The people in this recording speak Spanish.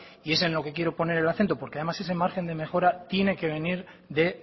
y es en lo que quiero poner el acento porque además ese margen de mejora tiene que venir de